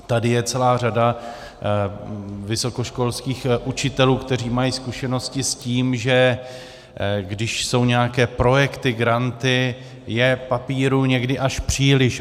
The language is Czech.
Tady je celá řada vysokoškolských učitelů, kteří mají zkušenosti s tím, že když jsou nějaké projekty, granty, je papírů někdy až příliš.